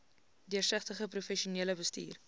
deursigtige professionele bestuur